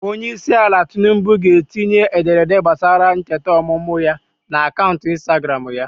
Onyeisiala Tinubu ga-etinye ederede gbasara ncheta ọmụmụ ya n'akaụntụ Instagram ya.